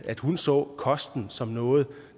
at hun så kosten som noget